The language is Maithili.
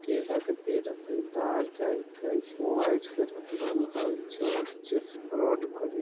केला का पेड़ हइ तार जाइत हाई वाइट से रंगल है चर्च है रोड क--